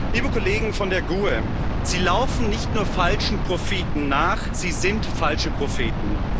Liebe Kollegen von der GUE NGL, Sie laufen nicht nur falschen Propheten nach, Sie sind falsche Propheten.